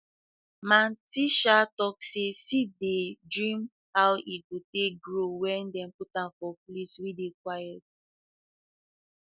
my aunty um talk say seed dey dream how e go take grow when dem put am for place wey dey quiet